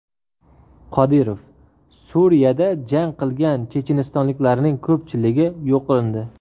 Qodirov: Suriyada jang qilgan chechenistonliklarning ko‘pchiligi yo‘q qilindi.